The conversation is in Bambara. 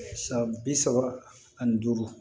San bi saba ani duuru